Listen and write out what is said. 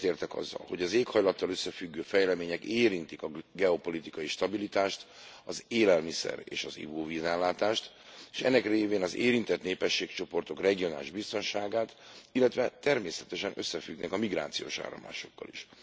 Egyetértek azzal, hogy az éghajlattal összefüggő fejlemények érintik a geopolitikai stabilitást, az élelmiszer és az ivóvízellátást, és ennek révén az érintett népességcsoportok regionális biztonságát, illetve természetesen összefüggnek a migrációs áramlásokkal is.